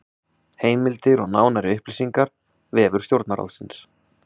Heimildir og nánari upplýsingar: Vefur Stjórnarráðsins